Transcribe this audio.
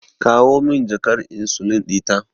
Kawo min jakar insulin ɗita.